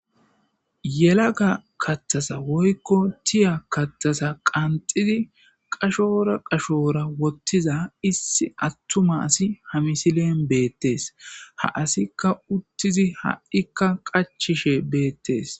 Yelaga kattasa woykko tiya kattasa qanxidi qashora qashoora wottiza issi attuma asi hamisilen beettes ha asikka uttizi ha'ikka qachishe beettes.